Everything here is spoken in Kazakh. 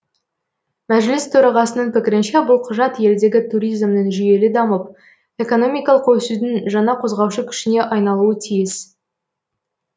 мәжіліс төрағасының пікірінше бұл құжат елдегі туризмнің жүйелі дамып экономикалық өсудің жаңа қозғаушы күшіне айналуы тиіс